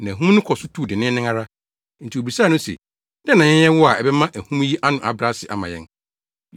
Na ahum no kɔ so tu denneennen ara. Enti wobisaa no se, “Dɛn na yɛnyɛ wo a ɛbɛma ahum yi ano abrɛ ase ama yɛn?”